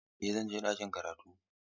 Eh zan je ɗakin karatu.